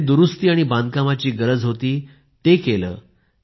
जिथे दुरुस्ती आणि बांधकामाची गरज होती ते केलं